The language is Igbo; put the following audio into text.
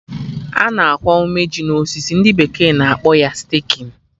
Ana akwa ume ji na osisi, ndị bekee na akpọ ya 'staking'